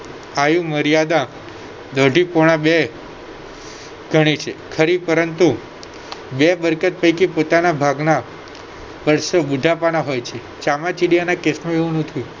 આયુ મર્યાદા અઢી પોણા બે ગણી છે ખરી પરંતુ જે મિલકત પૈકી પોતાના ભાગના વર્ષો બુઢાપાના હોય છે ચામાચીડિયાના case માં એવું નથી